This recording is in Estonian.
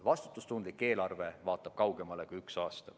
Vastutustundlik eelarve vaatab kaugemale kui üks aasta.